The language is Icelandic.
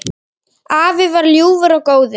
Afi var ljúfur og góður.